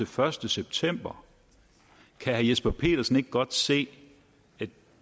første september kan herre jesper petersen ikke godt se at